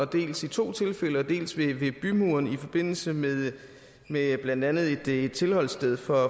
dels i to tilfælde ved bødkerporten dels ved bymuren i forbindelse med med blandt andet et tilholdssted for